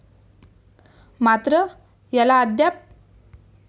मात्र, याला अद्याप